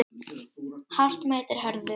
Hart mætir hörðu